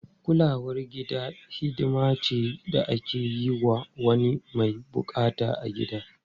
Kulawar gida hidima ce da ake yi wa wani mai bukata a gida.